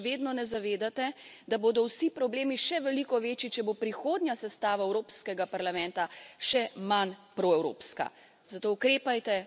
In kako je mogoče, da se še vedno ne zavedate, da bodo vsi problemi še veliko večji, če bo prihodnja sestava Evropskega parlamenta še manj proevropska?